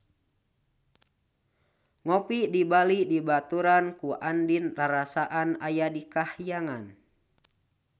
Ngopi di Bali dibaturan ku Andien rarasaan aya di kahyangan